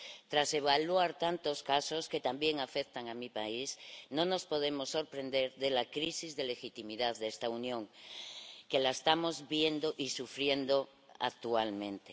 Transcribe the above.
Tras evaluar tantos casos, que también afectan a mi país, no nos podemos sorprender de la crisis de legitimidad de esta Unión, que estamos viendo y sufriendo actualmente.